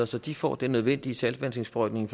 så de får den nødvendige saltvandsindsprøjtning